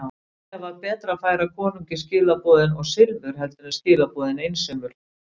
Líklega var betra að færa konungi skilaboðin og silfur heldur en skilaboðin einsömul.